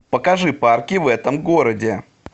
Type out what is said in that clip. покажи парки в этом городе